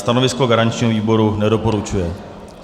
Stanovisko garančního výboru: nedoporučuje.